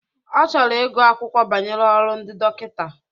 Ọ chọrọ igu akwụkwọ banyere olu ndị dọkịta.